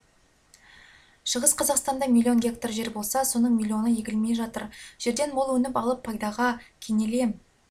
шығыс қазақстанда миллион гектар жер болса соның миллионы игерілмей жатыр жерден мол өнім алып пайдаға кенелем